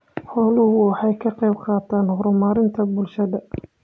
Xooluhu waxay ka qaybqaataan horumarka bulshada.